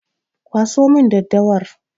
Kwaso min daddawar!